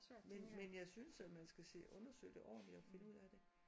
Men men jeg synes at man skal se undersøge det ordentligt og finde ud af det